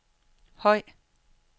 høj